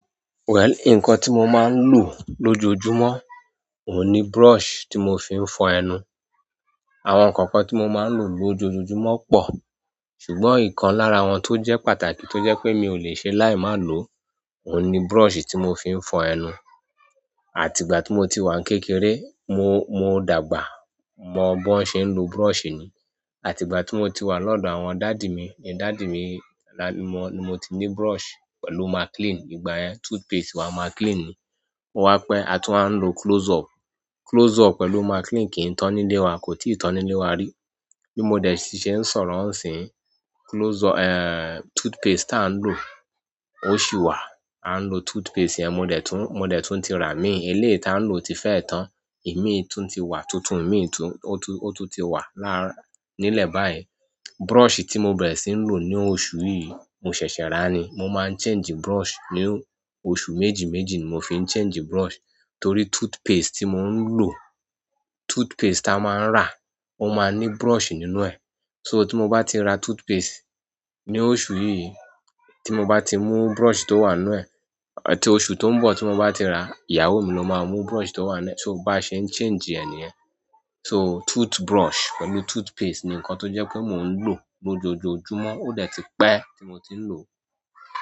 Well, nǹkan tí mo máa ń lò lójojúmọ́ ò ní brush tí mo fi ń fọ ẹnu. Àwọn nǹkan kan tí mo máa ń lò lójojúmọ́ pọ̀, ṣùgbọ́n nǹkan lára wọn tó jẹ́ pàtàkì tó jẹ́ pé mi ò lè ṣe láì má lò ò ní brush tí mo fi ń fọ ẹnu. Àti ìgbà tí mo ti wà kékeré, mo, mo dàgbà mọ bó ń ṣe ń lo brush ni. Ìgbà ti mo ti wa ni odo àwọn daddy mi ni daddy mi mo ti ni brush pẹ̀lú Maclean igbayen toothpaste or Maclean o wá pẹ́ a tún wá ń lo Close-up. Close-up pẹ̀lú Maclean kì í tán nílé wa, kò tí ì tán nílé wa rí. Bí mo dẹ̀ si ṣe ń sọ̀rọ̀ n sín, Close-up, eh, toothpaste tá a ń lò ó ṣì wà. A ń lo toothpaste yẹn, mo dẹ̀ tún, mo dẹ̀ tún ti rà mí. Ilé tá a ń lò ti fẹ́ tán. Ìmi tùn ti wà tuntun, ìmì tùn, òtún, òtún ti wà lára nílẹ̀ báyìí. Brush tí mo bẹ̀rẹ̀ sí ń lò ní oṣù yìí mo ṣẹ̀ṣẹ̀ rà ni. Mo máa ń change brush. Ní ọ̀su méjì méjì ni mo fi ń change brush torí toothpaste tí mò ń lò, toothpaste a máa ń rà ó máa ní brush nínú ẹ̀. So tí mo bá ti ra toothpaste ní oṣù yìí tí mo bá ti mú brush tó wà nínú ẹ̀, àti oṣù tó ń bọ̀ tí mo bá ti rà, ìyàwó mi ló máa mú brush tó wà nínú ẹ̀. So ó bá ṣe ń change ẹ ni yẹ́n. So toothbrush pẹ̀lú toothpaste ni nǹkan tó jẹ́ pé mò ń lò lójojúmọ́. Ó dẹ̀ ti pẹ́ tí mo ti ń lò ó.